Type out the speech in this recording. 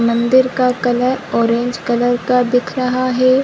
मंदिर का colour orange colour का दिख रहा है।